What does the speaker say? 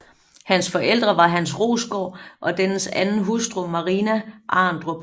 Hans forældre var Hans Rostgaard og dennes anden hustru Marina Arendrup